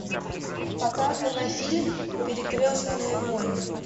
показывай фильм перекрестные войны